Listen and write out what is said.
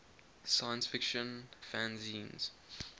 science fiction fanzines